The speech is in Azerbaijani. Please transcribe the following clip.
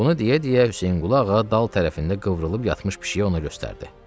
Bunu deyə-deyə Hüseynqulu ağa dal tərəfində qıvrılıb yatmış pişiyi ona göstərdi.